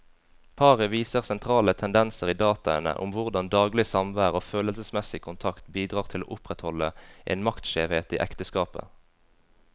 Paret viser sentrale tendenser i dataene om hvordan daglig samvær og følelsesmessig kontakt bidrar til å opprettholde en maktskjevhet i ekteskapet.